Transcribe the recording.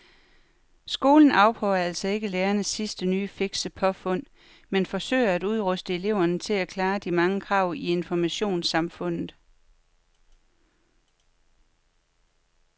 Skolen afprøver altså ikke lærernes sidste nye fikse påfund men forsøger at udruste eleverne til at klare de mange krav i informationssamfundet.